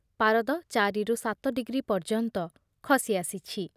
ପାରଦ ଚାରିରୁ ସାତ ଡିଗ୍ରୀ ପର୍ଯ୍ୟନ୍ତ ଖସିଆସିଛି ।